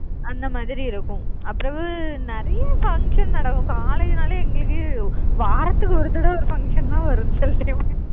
அந்த மாதிரி இருக்கும். அப்புறவு நிறைய function நடக்கும். college னாலே எங்களுக்கு வாரத்துக்கு ஒரு தடவை ஒரு function லாம் வரும் சில time